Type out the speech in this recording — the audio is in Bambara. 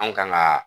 Anw kan ga